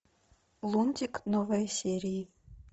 лунтик новые серии